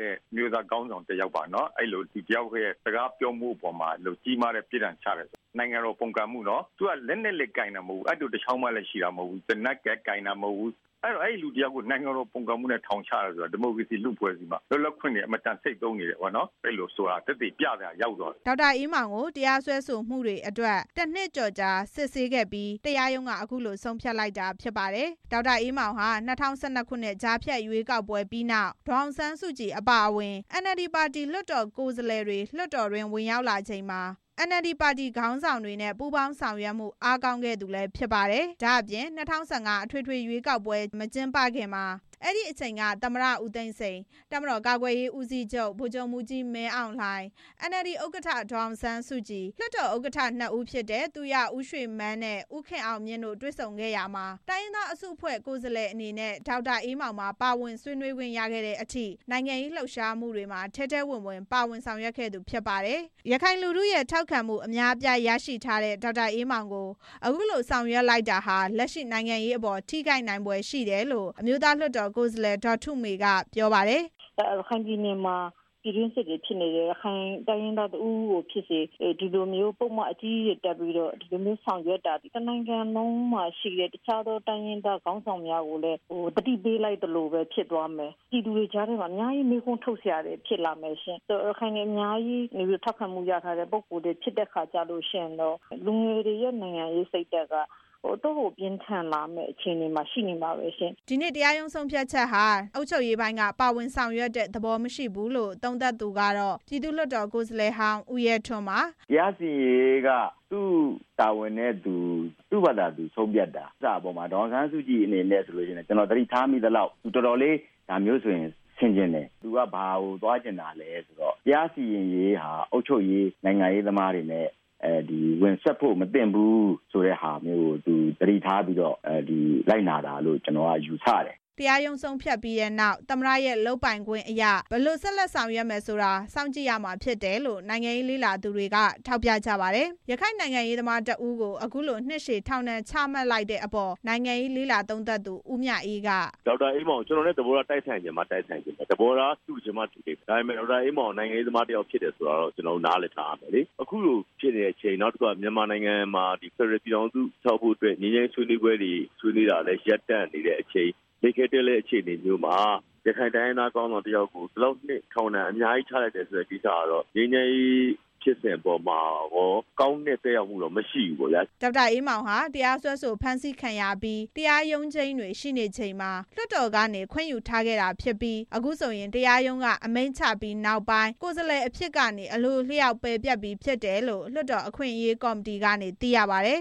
တဲ့ ရခိုင်ခေါင်းဆောင်တစ်ယောက်ပါနော်။ အဲလိုလူတစ်ယောက်ရဲ့ ဟောပြောမှုအပေါ် မှာ ကြီးမားတဲ့ ပြစ်ဒဏ်ချတယ်။ နိုင်ငံတော်ပုန်ကန်မှု လက်နက်လည်းကိုင်တာ မဟုတ်ဘူး။ အပ်တိုတစ်ချောင်း မှလည်း ရှိတာမဟုတ်ဘူး။ သေနတ်လည်းကိုင်တာလည်းမဟုတ်ဘူး။ အဲလိုလူတစ်ယောက်ကို နိုင်ငံတော် ပုန်ကန်မှုနဲ့ ထောင်ချတယ်ဆိုတာ ဒီမိုကရေစီ လူ့အဖွဲ့အစည်းမှာလွတ်လပ်ခွင့်တွေ ဆုံးရှုံးနေတယ်ဆိုတာကို သက်သေပြရာရောက်သွားတယ်။” ဒေါက်တာအေးမောင်ကို တရားစွဲဆိုမှုတွေအတွက် တစ်နှစ်ကျော်ကြာ စစ်ဆေးခဲ့ပြီး တရားရုံးက အခုလို ဆုံးဖြတ်လိုက်တာဖြစ်ပါတယ်။ ဒေါက်တာအေးမောင်ဟာ ၂၀၁၂ ခုနှစ် ကြားဖြတ်ရွေးကောက်ပွဲပြီးနောက် ဒေါ်အောင်ဆန်းစုကြည် အပါအဝင် အန်အယ်လ်ဒီပါတီ လွှတ်တော်ကိုယ်စားလှယ်တွေ လွှတ်တော်တွင်း ဝင်ရောက်လာခဲ့ချိန်မှာ NLD ပါတီခေါင်းဆောင်တွေနဲ့ ပူးပေါင်းဆောင်ရွက်မှု အားကောင်းခဲ့သူဖြစ်ပါတယ်။ ဒါ့အပြင်၂၀၁၅ အထွေထွေရွေးကောက်ပွဲမကျင်းပခင်မှာ အဲဒီအချိန်က သမ္မတဦးသိန်းစိန်၊ တပ်မတော် ကာကွယ်ရေးဦးစီးချုပ် ဗိုလ်ချုပ်မှူးကြီး မင်းအောင်လှိုင်၊ NLD ဥက္ကဌ ဒေါ်အောင်ဆန်းစုကြည်၊ လွှတ်တော်ဥက္ကဋ္ဌ နှစ်ဦးဖြစ်တဲ့ သူရဦးရွှေမန်းနဲ့ ဦးခင်အောင်မြင့်တို့ တွေ့ဆုံခဲ့ရာမှာ တိုင်းရင်းသားအစုအဖွဲ့ ကိုယ်စားလှယ်အနေနဲ့ ဒေါက်တာအေးမောင်ပါ ပါဝင်ဆွေးနွေးခွင့်ရခဲ့တဲ့အထိ နိုင်ငံရေးလှုပ်ရှားမှုတွေမှာ ထဲထဲဝင်ဝင် ပါဝင်ဆောင်ရွက်ခဲ့သူဖြစ်ပါတယ်။ ရခိုင်လူထုရဲ့ ထောက်ခံမှု အများအပြားရရှိထားတဲ့ ဒေါက်တာအေးမောင်ကို အခုလိုဆောင်ရွက်လိုက်တာဟာ လက်ရှိနိုင်ငံရေးအပေါ် ထိခိုက်နိုင်ဖွယ်ရှိတယ်လို့ အမျိုးသားလွှတ်တော်ကိုယ်စားလှယ် ဒေါ်ထုမေက ပြောပါတယ်။ “ရခိုင်ပြည်နယ်မှာ ပြည်တွင်းစစ်တွေဖြစ်နေတယ်။ ရခိုင်တိုင်းရင်းသား တစ်ဦးဦးကို ဖြစ်ပါစေ ဒီလိုမျိုးပုဒ်မ အကြီးကြီးတွေ တပ်ပြီးတော့ ဒီလိုမျိုးဆောင်ရွက်တာသည် တစ်နိုင်ငံလုံးမှာရှိတဲ့ တခြားသော တိုင်းရင်း သားခေါင်းဆောင်များကိုလည်း သတိပေးလိုက်သလို ဖြစ်သွားမယ်။ ရခိုင်တွေအများကြီး ထောက်ခံမှုရထားတဲ့ ပုဂ္ဂိုလ်လည်း ဖြစ်တဲ့အခါကျတော့ လူငယ်တွေရဲ့ နိုင်ငံရေးစိတ်ဓါတ်က အတော့်ကို ပြင်းထန်လာမယ့် အခြေအနေမှာရှိနေမှာပဲရှင်။” ဒီနေ့ တရားရုံးဆုံးဖြတ်ချက်ဟာ အုပ်ချုပ်ရေးပိုင်းက ပါဝင်ဆောင်ရွက်တဲ့ သဘောမရှိဘူးလို့ သုံးသပ်သူကတော့ ပြည်သူ့လွှတ်တော်ကိုယ်စားလှယ်ဟောင်း ဦးရဲထွန်းပါ။ “တရားစီရင်ရေးဟာ သူ့တာဝန်နဲ့ သူ့ဘာသာသူဆုံးဖြတ်တာ။ ဒေါ်အောင်ဆန်းစုကြည်အနေနဲ့လည်း ကျနော်သတိထားမိသလောက် တော်တော်လေး ဒါမျိုးဆိုဆင်ခြင်တယ်။ သူ့က ဘာကိုသွားချင်တာလည်းဆိုတော့ တရားစီရင်ရေးဟာ အုပ်ချုပ်ရေး၊ နိုင်ငံရေးသမားတွေအနေနဲ့ ဝင်စွက်လို့မသင့်ဘူး ဆိုတဲ့ဟာမျိုးကို သတိထားပြီးတော့ လိုက်နာတာလို့ ကျနော်က ယူဆတယ်။” တရားရုံး ဆုံးဖြတ်ချက်ပြီးတဲ့နောက် သမ္မတရဲ့လုပ်ပိုင်ခွင့်အရ ဘယ်လိုဆက်လက် ဆောင်ရွက်မယ်ဆိုတာကို စောင့်ကြည့်ရမယ်လို့ နိုင်ငံရေးလေ့လာသူတွေက ထောက်ပြကြပါတယ်။ ရခိုင်နိုင်ငံရေးသမားတစ်ဦးကို အခုလို နှစ်ရှည် ထောင်ဒဏ်ချမှတ်လိုက်တဲ့အပေါ် နိုင်ငံရေး လေ့လာသူ ဦးမြအေး က “ဒေါက်တာအေးမောင်က ကျနော်နဲ့ သဘောထားတိုက်ဆိုင်ချင်မှ တိုက်ဆိုင်လိမ့်မယ်။ သဘောထားတူချင်မှ တူလိမ့်မယ်။ ဒါပေမဲ့ ဒေါက်တာအေးမောင်က နိုင်ငံရေးသမား တစ်ယောက်ဖြစ်တယ်ဆိုတာကိုတော့ ကျနော်တို့ နားလည်ထားရမယ်လေ။ အခုလိုဖြစ်နေတဲ့အချိန် မြန်မာနိုင်ငံမှာ ဖက်ဒရယ် ပြည်ထောင်စုတည်ထောင်ဖို့ ငြိမ်းချမ်းရေး ဆွေးနွေးပွဲတွေဆွေးနွေးဖို့ ရပ်တံ့နေတဲ့အချိန်မှာ ရခိုင် တိုင်းရင်းသားခေါင်းဆောင်တစ်ယောက်ကို အခုလို နှစ်ရှည်ထောင်ဒဏ် ချမှတ်လိုက်တာဟာ ငြိမ်းချမ်းရေးဖြစ်စဉ်အပေါ်မှာကော ကောင်းတဲ့သက်ရောက် မှုတော့ မရှိဘူးပေါ့ဗျာ။” ဒေါက်တာအေးမောင်ဟာ တရားစွဲဆိုဖမ်းဆီးခံရပြီး တရားရုံးချိန်းတွေ ရှိနေချိန်မှာ လွှတ်တော်ကနေ ခွင့်ယူထားခဲ့ တာဖြစ်ပြီး အခုဆိုရင် တရားရုံး အမိန့်ချပြီးနောက်ပိုင်း ကိုယ်စားလှယ်အဖြစ်ကနေ အလိုအလျောက်ပယ်ပျက် ပြီးဖြစ်တယ်လို့ လွှတ်တော် အခွင့်အရေးကော်မတီကနေ သိရပါတယ်